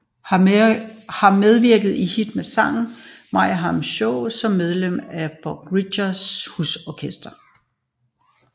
Har medvirket i Hit med Sangen og Meyerheim Show som medlem af Bob Ricketts husorkestre